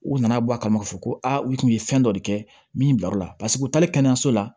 U nana bɔ a kama k'a fɔ ko aa u tun ye fɛn dɔ de kɛ min bila o la paseke u taalen kɛnɛyaso la